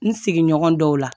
N sigiɲɔgɔn dɔw la